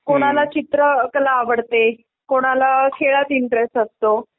कोणाला चित्रकला आवडते. कोणाला खेळात इंटरेस्ट असतो.